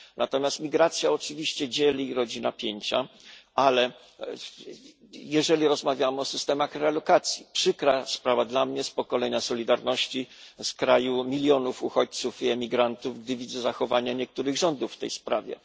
Natomiast migracja oczywiście dzieli i rodzi napięcia, ale jeżeli rozmawiamy o systemach relokacji przykra sprawa dla mnie, z pokolenia Solidarności, z kraju milionów uchodźców i emigrantów, gdy widzę zachowania niektórych rządów w tej sprawie.